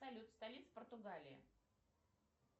салют столица португалии